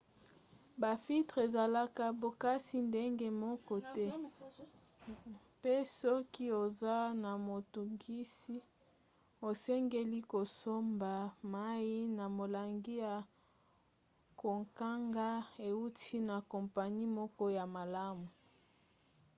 bafiltre ezalaka bokasi ndenge moko te mpe soki oza na motungisi osengeli kosomba mai na molangi ya kokanga euti na kompani moko ya malamu